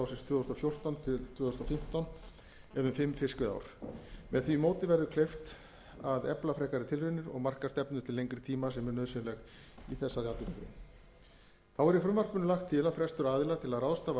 tvö þúsund og fjórtán tvö þúsund og fimmtán eða um fimm fiskveiðiár með því móti verður kleift að efla frekari tilraunir og marka stefnu til lengri tíma sem er nauðsynlegt í þessari atvinnugrein þá er í frumvarpinu lagt til að frestur aðila til að ráðstafa